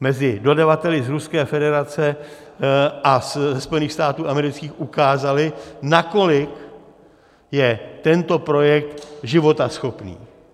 mezi dodavateli z Ruské federace a ze Spojených států amerických ukázala, nakolik je tento projekt životaschopný.